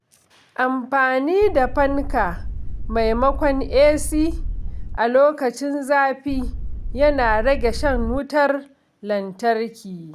Amfani da fanka maimakon AC a lokacin zafi yana rage shan wutar lantarki.